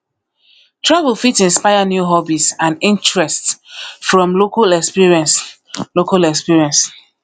travel fit inspire new hobbies and interests from local experience local experience